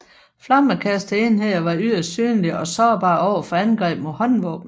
Flammekasterenheder var yderst synlige og sårbare over for angreb med håndvåben